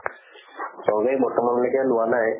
চৰকাৰী বৰ্তমানলৈকে লোৱা নাই